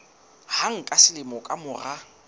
hang ka selemo ka mora